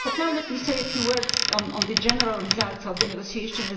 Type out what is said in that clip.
Now let me say a few words on the general results of the negotiation.